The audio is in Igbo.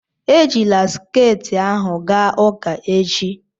Ejila sket ahụ gaa ụka echi!